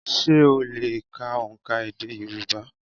Sé ó le è ka òǹkà èdè Yorùbá?